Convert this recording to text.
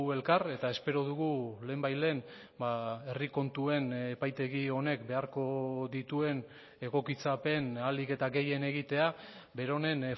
elkar eta espero dugu lehenbailehen herri kontuen epaitegi honek beharko dituen egokitzapen ahalik eta gehien egitea beronen